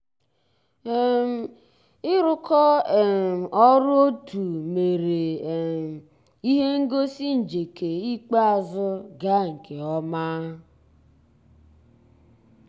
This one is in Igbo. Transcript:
um ị́ rụ́kọ̀ um ọ́rụ́ ótú mérè um íhé ngósì njéké ikpéázụ́ gàà nkè ọ́má.